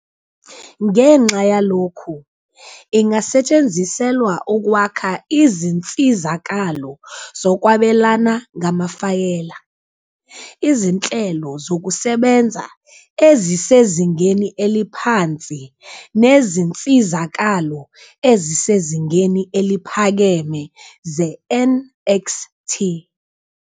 Ngenxa yalokhu, ingasetshenziselwa ukwakha izinsizakalo zokwabelana ngamafayela, izinhlelo zokusebenza ezisezingeni eliphansi, nezinsizakalo ezisezingeni eliphakeme ze-NXT.